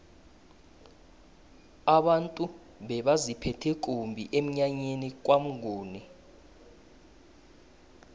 abantu bebaziphethe kumbi emnyanyeni kwamnguni